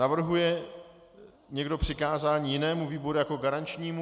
Navrhuje někdo přikázání jinému výboru jako garančnímu?